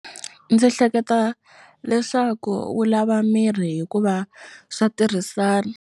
Ndzi hleketa leswaku wu lava miri hikuva swa tirhisana.